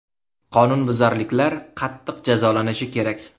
Qonunbuzarliklar qattiq jazolanishi kerak.